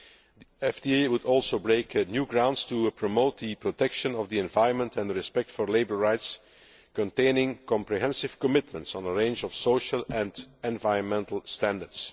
The FTA would also break new ground in promoting the protection of the environment and respect for labour rights, containing comprehensive commitments on a range of social and environmental standards.